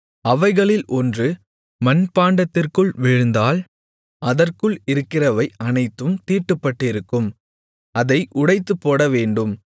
அவைகளில் ஒன்று மண்பாண்டத்திற்குள் விழுந்தால் அதற்குள் இருக்கிறவை அனைத்தும் தீட்டுப்பட்டிருக்கும் அதை உடைத்துப்போடவேண்டும்